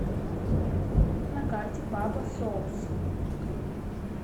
на карте папа соус